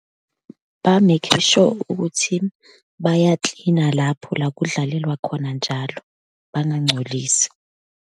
Ba-make sure ukuthi bayaklina lapho la kudlalelwa khona njalo, bangangcolisi.